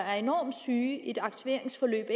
er enormt syge ud i et aktiveringsforløb